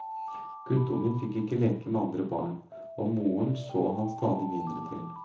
Guttungen fikk ikke leke med andre barn, og moren så han stadig mindre til.